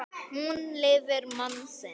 Hún lifir mann sinn.